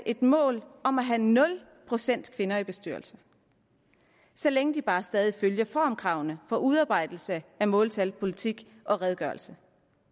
et mål om at have nul procent kvinder i bestyrelsen så længe den bare stadig følger formkravene for udarbejdelse af måltal politikker og redegørelser